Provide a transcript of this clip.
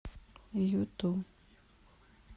юту